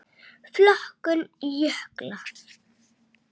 Flokkun jökla